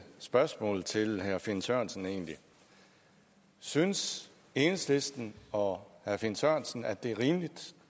spørgsmål til herre finn sørensen egentlig synes enhedslisten og herre finn sørensen at det er rimeligt